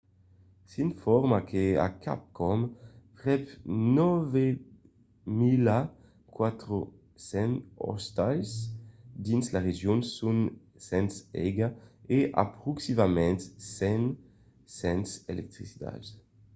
s'informa que a quicòm prèp 9 400 ostals dins la region son sens aiga e aproximativament 100 sens electricitat